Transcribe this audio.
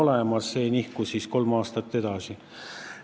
Asi nihkus siis kolm aastat edasi.